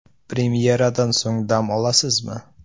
Premyeradan so‘ng dam olasizmi?